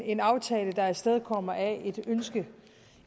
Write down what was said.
en aftale der er afstedkommet af et ønske